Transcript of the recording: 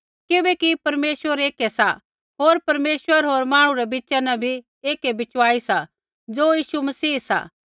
किबैकि परमेश्वर एकै सा होर परमेश्वर होर मांहणु रै बिच़ा न भी एकै बिचवाई सा ज़ो यीशु मसीह सा